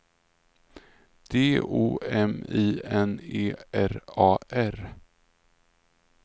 D O M I N E R A R